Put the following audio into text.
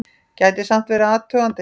Gæti samt verið athugandi!